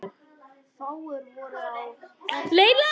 Ég er falleg.